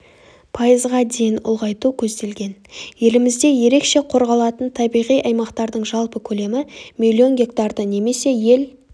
пайызға дейін ұлғайту көзделген елімізде ерекше қорғалатын табиғи аймақтардың жалпы көлемі миллион гектарды немесе ел